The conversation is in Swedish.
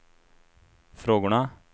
frågorna